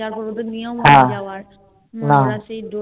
ওদের নিয়ম যাওয়ার